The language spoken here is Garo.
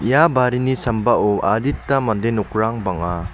ia barini sambao adita mande nokrang bang·a.